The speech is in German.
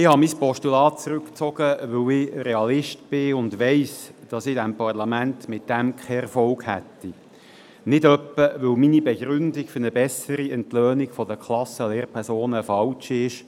Ich habe mein Postulat zurückgezogen, weil ich Realist bin und weiss, dass ich in diesem Parlament damit keinen Erfolg hätte – nicht etwa, weil meine Begründung für eine bessere Entlöhnung der Klassenlehrpersonen falsch ist;